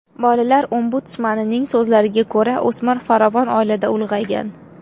Bolalar ombudsmanining so‘zlariga ko‘ra, o‘smir farovon oilada ulg‘aygan.